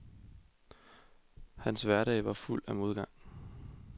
Hans hverdag var fuld af modgang.